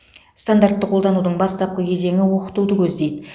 стандартты қолданудың бастапқы кезеңі оқытуды көздейді